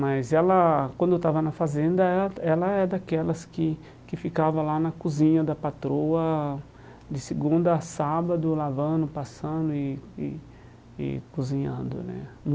Mas ela, quando estava na fazenda, ela ela é daquelas que que ficava lá na cozinha da patroa, de segunda a sábado, lavando, passando e e e cozinhando né.